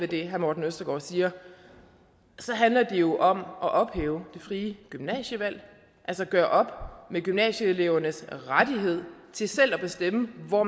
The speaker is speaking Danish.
det herre morten østergaard siger så handler det jo om at ophæve det frie gymnasievalg altså at gøre op med gymnasieelevernes rettighed til selv at bestemme hvor